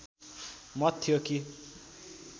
मत थियो कि